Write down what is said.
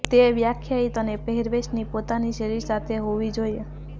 તે વ્યાખ્યાયિત અને પહેરવેશની પોતાની શૈલી સાથે હોવી જોઈએ